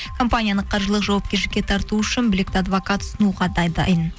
компанияны қаржылық жауапкершілікке тарту үшін білекті адвокат ұсынуға да дайын